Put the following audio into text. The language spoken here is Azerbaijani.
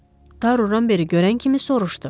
Taru Ramberi görən kimi soruşdu.